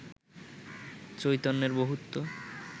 চৈতন্যের বহুত্ব